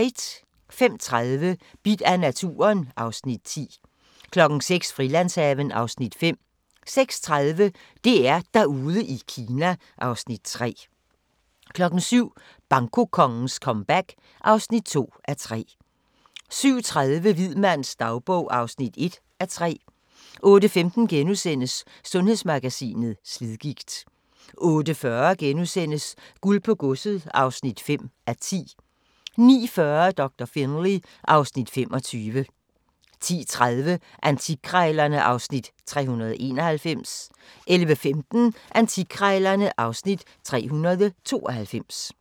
05:30: Bidt af naturen (Afs. 10) 06:00: Frilandshaven (Afs. 5) 06:30: DR-Derude i Kina (Afs. 3) 07:00: Bankokongens comeback (2:3) 07:30: Hvid mands dagbog (1:3) 08:15: Sundhedsmagasinet: Slidgigt * 08:40: Guld på godset (5:10)* 09:40: Doktor Finlay (Afs. 25) 10:30: Antikkrejlerne (Afs. 391) 11:15: Antikkrejlerne (Afs. 392)